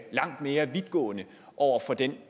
langt mere vidtgående over for den